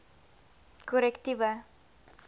korrektiewe